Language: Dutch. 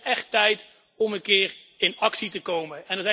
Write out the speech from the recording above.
Het wordt nu echt tijd om een keer in actie te komen.